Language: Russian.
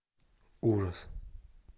ужас